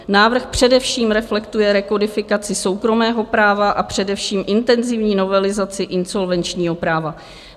Návrh především reflektuje rekodifikaci soukromého práva, a především intenzivní novelizaci insolvenčního práva.